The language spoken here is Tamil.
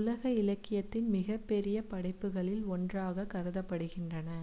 உலக இலக்கியத்தின் மிகப் பெரிய படைப்புகளில் ஒன்றாகக் கருதப்படுகின்றன